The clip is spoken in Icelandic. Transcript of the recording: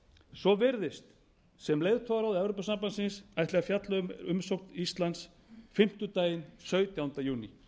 svo virðist sem leiðtogaráð evrópusambandsins ætli að fjalla um umsókn íslands fimmtudaginn sautjánda júní